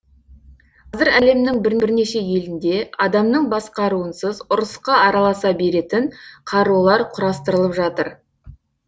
қазір әлемнің бірнеше елінде адамның басқаруынсыз ұрысқа араласа беретін қарулар құрастырылып жатыр